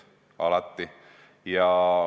Alati!